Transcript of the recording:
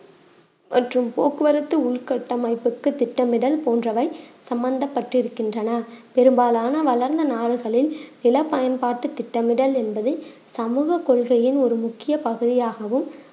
மற்றும் போக்குவரத்து உள்கட்டமைப்புக்கு திட்டமிடல் போன்றவை சம்பந்தப்பட்டிருக்கின்றன பெரும்பாலான வளர்ந்த நாடுகளில் நில பயன்பாட்டு திட்டமிடல் என்பது சமூகக் கொள்கையின் ஒரு முக்கிய பகுதியாகவும்